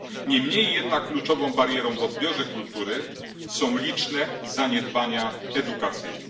Niemniej jednak kluczową barierą w odbiorze kultury są liczne zaniedbania edukacyjne.